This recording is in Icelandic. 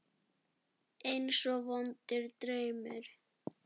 Eins og vondur draumur.